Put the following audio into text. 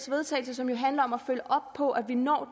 vedtagelse som jo handler om at følge op på at vi når